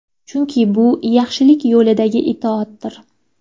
Chunki bu yaxshilik yo‘lidagi itoatdir.